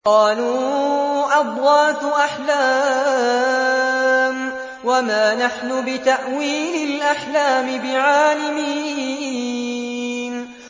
قَالُوا أَضْغَاثُ أَحْلَامٍ ۖ وَمَا نَحْنُ بِتَأْوِيلِ الْأَحْلَامِ بِعَالِمِينَ